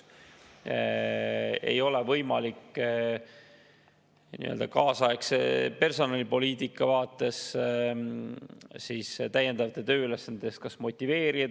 Ei ole võimalik neid nii-öelda kaasaegse personalipoliitika vaates motiveerida täiendavaid tööülesandeid täitma.